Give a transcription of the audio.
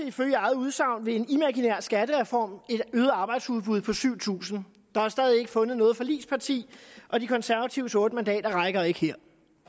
ifølge eget udsagn ved en imaginær skattereform et øget arbejdsudbud på syv tusind der er stadig ikke fundet noget forligsparti og de konservatives otte mandater rækker ikke her